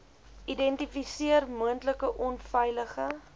identifiseer moontlike onveilige